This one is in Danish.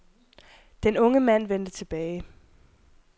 Den unge mand vendte tilbage.